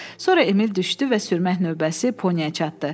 Sonra Emil düşdü və sürmək növbəsi Poniyə çatdı.